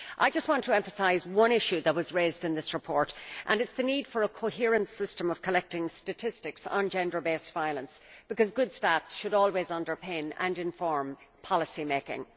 I just want to emphasise one issue that was raised in this report and it is the need for a coherent system for collecting statistics on gender based violence, because good statistics should always underpin and inform policymaking.